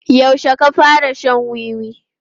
Yaushe ka fara shan wiwi?